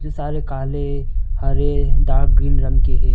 सारे काले हरे डार्क ग्रीन रंग के है।